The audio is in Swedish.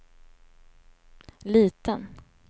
liten